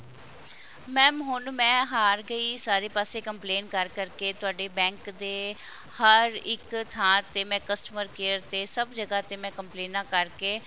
mam ਮੈਂ ਹੁਣ ਹਾਰ ਗਈ ਸਾਰੇ ਪਾਸੇ complaint ਕਰ ਕਰ ਕੇ ਤੁਹਾਡੇ bank ਦੇ ਹਰ ਇੱਕ ਥਾਂ ਤੇ ਮੈਂ customer care ਤੇ ਸਭ ਜਗ੍ਹਾ ਤੇ ਮੈਂ ਕੰਪਲੇਨਾਂ ਕਰ ਕੇ